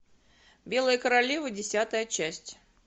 белая королева десятая часть